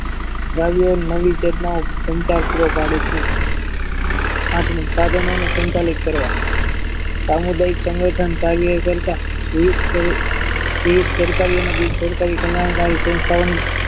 દ્રવ્યો નવી પેટના સંતાસ્ત્રો પડે છે આથી સાધનોને સંચાલિત કરવા સામુદાયિક સંગઠન કાર્ય કરતા વિવિધ તે સરકારી બિનસરકારી તમામ વાયુ સંસ્થાઓની